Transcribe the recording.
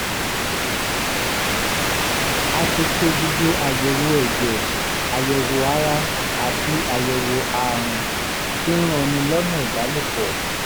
a ti ṣe gbogbo àyẹ̀wò ẹ̀jẹ̀ àyẹ̀wò ara àti àyẹ̀wò àrùn tí ń ranni lọ́nà ìbálòpọ̀